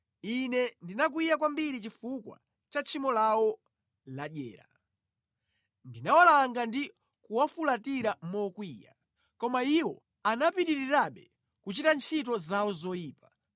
Ine ndinakwiya kwambiri chifukwa cha tchimo lawo ladyera; ndinawalanga ndi kuwafulatira mokwiya, koma iwo anapitirirabe kuchita ntchito zawo zoyipa.